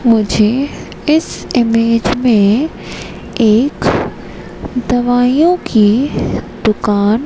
मुझे इस इमेज में एक दवाइयां की दुकान--